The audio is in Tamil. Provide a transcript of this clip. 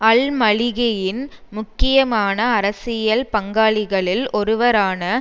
அல்மலிகியின் முக்கியமான அரசியல் பங்காளிகளில் ஒருவரான